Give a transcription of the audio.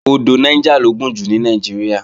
Odò Niger lo gùn jù ní Nàìjíríà